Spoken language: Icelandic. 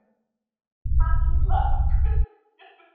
Hallmar, hvenær kemur vagn númer þrjátíu og eitt?